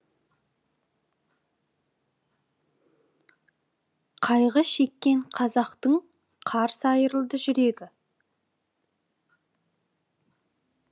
қайғы шеккен қазақтың қарс айырылды жүрегі